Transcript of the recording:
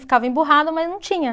Ficava emburrado, mas não tinha.